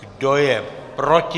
Kdo je proti?